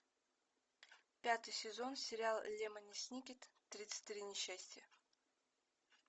пятый сезон сериал лемони сникет тридцать три несчастья